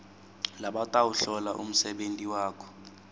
labatawuhlola umsebenti wakho